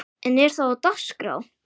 En er það á dagskrá?